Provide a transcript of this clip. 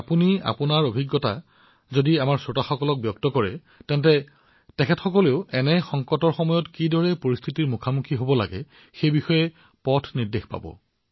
আপুনি আপোনাৰ এই পীড়া অৱস্থাৰ কিছু অভিজ্ঞতা যদি বৰ্ণনা কৰে তেন্তে শ্ৰোতাসকলে নিজকে এনে সময়ত কিদৰে চম্ভালিব লাগে সেই বিষয়ে সঠিক মাৰ্গদৰ্শন লাভ কৰিব